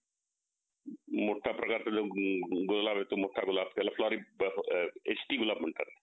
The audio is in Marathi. exchange झाली आणि त्यामुळे आपल्या दोघांच्या knowledge मध्ये एक भर आली.